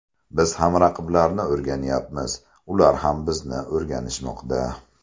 Biz ham raqiblarni o‘rganyapmiz, ular ham bizni o‘rganishmoqda.